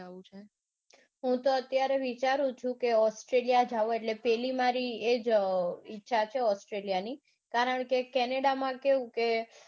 હૂતો અત્યારે વિચારું છું કે australia જાઉં એટલે પેલી મારે એજ ઈચ્છા છે મારી australia ની કારણકે canada માં કેવું કે